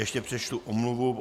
Ještě přečtu omluvu.